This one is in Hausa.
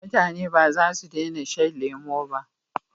mutane ba za su dena shan lemo ba